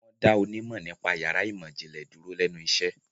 Wọ́n dá onímọ̀ nípa yàrá ìmọ̀-ìjìnlẹ̀ dúró lẹ́nu iṣẹ́.